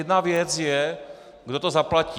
Jedna věc je, kdo to zaplatí.